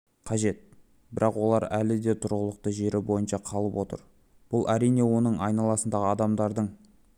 қажет бірақ олар әлі де тұрғылықты жері бойынша қалып отыр бұл әрине оның айналасындағы адамдардың